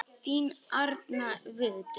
Þín Arna Vigdís.